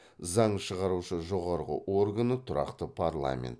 заң шығарушы жоғарғы органы тұрақты парламент